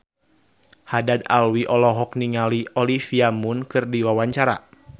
Haddad Alwi olohok ningali Olivia Munn keur diwawancara